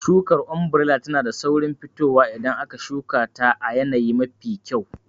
Shukar ombirela tana da saurin fitowa idan aka shuka ta a yanayi mafi kyau.